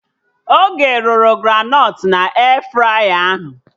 Oge rụrụ granọt na E-fraya ahụ